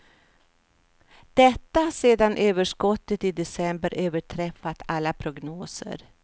Detta sedan överskottet i december överträffat alla prognoser.